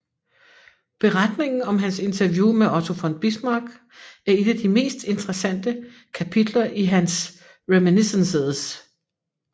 Beretningen om hans interview med Otto von Bismarck er et af de mest interessante kapitler i hans Reminiscences